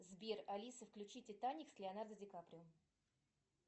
сбер алиса включи титаник с леонардо ди каприо